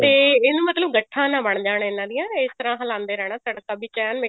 ਤੇ ਇਹਨੂੰ ਮਤਲਬ ਗੱਠਾ ਨਾ ਬਣ ਜਾਣ ਇਹਨਾ ਦੀਆਂ ਇਸ ਤਰ੍ਹਾਂ ਹਿਲਾਉਂਦੇ ਰਹਿਣਾ ਤੜਕਾ ਵਿੱਚ ਐਨ